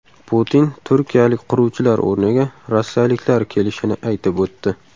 Putin turkiyalik quruvchilar o‘rniga rossiyaliklar kelishini aytib o‘tdi.